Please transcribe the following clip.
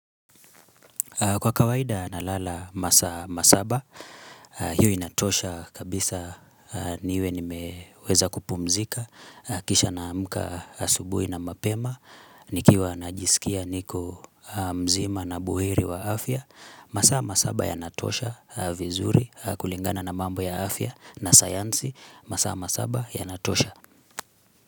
Kwa kawaida na lala masaa Masaba, hiyo inatosha kabisa niwe nimeweza kupumzika, kisha naamka asubui na mapema, nikiwa na jisikia niko mzima na buheri wa afya, masaa Masaba ya Natosha vizuri kulingana na mambo ya afya na sayansi, masaa Masaba ya Natosha.